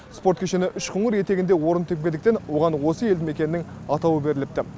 спорт кешені үшқоңыр етегінде орын тепкендіктен оған осы елді мекеннің атауы беріліпті